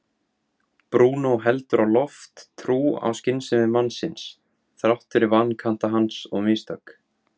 Brúnó heldur á loft trú á skynsemi mannsins þrátt fyrir vankanta hans og mistök.